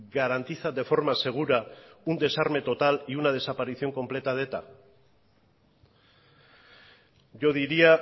garantiza de forma segura un desarme total y una desaparición completa de eta yo diría